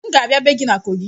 M ga-abịa ebe gị na kogị